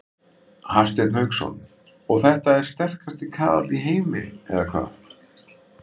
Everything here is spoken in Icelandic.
Hafsteinn Hauksson: Og þetta er sterkasti kaðall í heimi eða hvað?